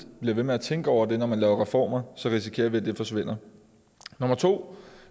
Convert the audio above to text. bliver ved med at tænke over det når man laver reformer risikerer vi at det forsvinder nummer to